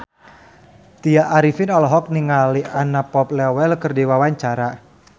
Tya Arifin olohok ningali Anna Popplewell keur diwawancara